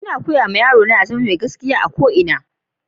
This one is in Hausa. Ina koyar ma yaro na ya zama mai gaskiya a duƙ abin da yana yi.